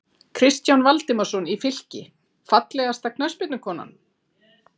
Kristján Valdimarsson í Fylki Fallegasta knattspyrnukonan?